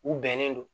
U bɛnnen don